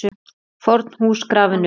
FORN HÚS GRAFIN UPP